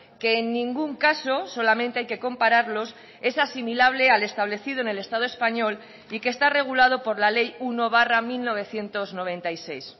que en ningún caso solamente hay que compararlos es asimilable al establecido en el estado español y que está regulado por la ley uno barra mil novecientos noventa y seis